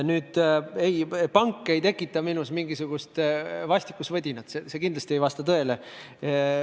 Nüüd, pank ei tekita minus mingisugust vastikusvõdinat – see kindlasti ei vasta tõele.